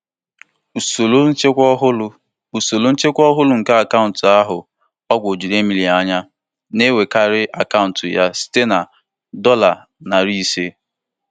Ọ tụrụ onye ahịa ahụ n'anya ịchọpụta na azụmahịa ha na-eme kwa ụbọchị karịrị ego nchekwa obere akpa ekwentị karịa ọtụtụ puku dollar.